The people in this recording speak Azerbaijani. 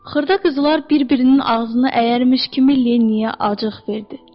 Xırda qızlar bir-birinin ağzını əyərmiş kimi Lenniyə acıq verdi.